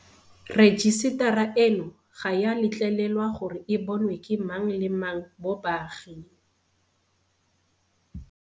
Rejisetara eno ga e a letlelelwa gore e bonwe ke mang le mang mo baaging.